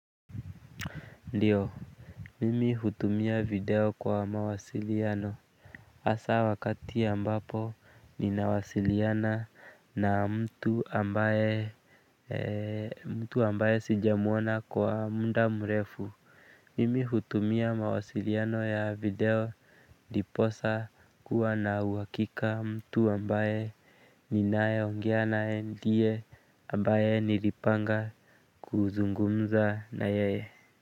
Ndiyo. Mimi hutumia video kwa mawasiliano hasa wakati ambapo ninawasiliana na mtu ambaye mtu ambaye sijamuona kwa muda mrefu. Mimi hutumia mawasiliano ya video ndiposa kuwa na uhakika mtu ambaye ninaye ongea naye ndiye ambaye nilipanga kuzungumza na yeye.